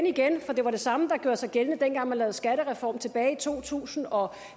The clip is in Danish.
igen for det var det samme der gjorde sig gældende dengang man lavede skattereform tilbage i to tusind og